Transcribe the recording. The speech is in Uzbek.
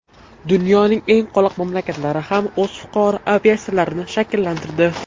Dunyoning eng qoloq mamlakatlari ham o‘z fuqaro aviatsiyalarini shakllantirdi.